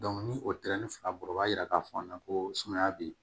ni o tɛrɛ fila bɔ o b'a yira k'a fɔ a na ko sumaya bɛ yen